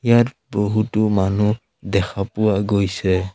ইয়াত বহুতো মানুহ দেখা পোৱা গৈছে।